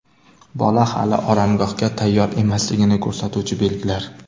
Bola hali oromgohga tayyor emasligini ko‘rsatuvchi belgilar.